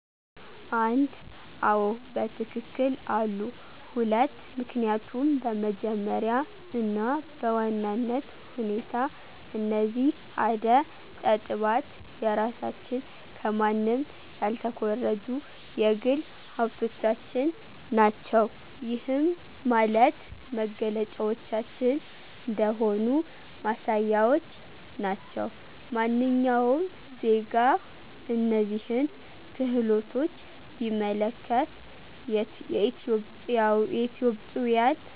1, አዎ በትክክል አሉ፤ 2, ምክኒያቱም በመጀመሪያ እና በዋናነት ሁኔታ እነዚህ አደ ጠጥባት የራሳችን ከማንም ያልተኮረጁ የግል ሀብቶቻችን ናቸው። ይህም ማለት መገለጫዎቻችን እንደሆኑ ማሳያዎች ናቸው። ማንኛውም ዜጋ እነዚህን ክህሎቶች ቢመለከት የኢትዮጵዊያን